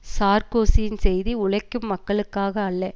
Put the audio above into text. சார்க்கோசியின் செய்தி உழைக்கும் மக்களுக்காக அல்ல